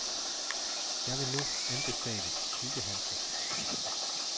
Jeg vil nu anbefale tykke handsker.